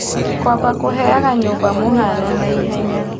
Kũamba kũheaga nyũmba mũhano na hinya.